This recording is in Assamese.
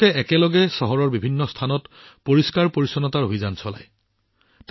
তেওঁলোকে একেলগে চহৰৰ বিভিন্ন ঠাইত পৰিষ্কাৰ পৰিচ্ছন্নতা অভিযান চলায়